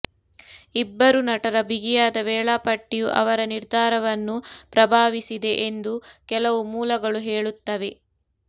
ಇಬ್ಬರು ನಟರ ಬಿಗಿಯಾದ ವೇಳಾಪಟ್ಟಿಯು ಅವರ ನಿರ್ಧಾರವನ್ನು ಪ್ರಭಾವಿಸಿದೆ ಎಂದು ಕೆಲವು ಮೂಲಗಳು ಹೇಳುತ್ತವೆ